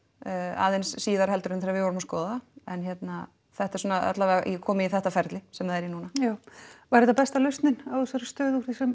aðeins síðar heldur en þegar við vorum að skoða það en hérna þetta er alla vega komið í þetta ferli sem það er í núna já var þetta besta lausnin á þessari stöðu úr því sem